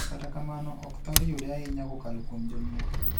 Kata kamano ,ok thore yude ahinya kokalo kuom jonyuol.